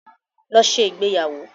Lọ ṣe ìgbéyàwó.